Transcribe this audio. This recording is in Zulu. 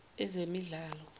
ezemidlalo